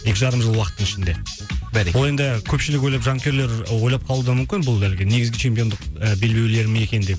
екі жарым жыл уақыттың ішінде бәрекелді ол енді көпшілік ойлап жанкүйерлер ойлап қалуы да мүмкін бұл әлгі негізгі чемпиондық і белбеулер ме екен деп